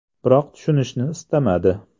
Biroq tushunishni istamadi.